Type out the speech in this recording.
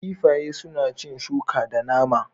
Kifi sune cin shuka da nama.